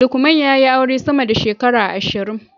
Lukman ya yi aure sama da shekara ashirin